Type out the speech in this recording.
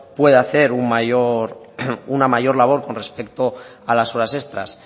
puede hacer una mayor labor con respecto a las horas extras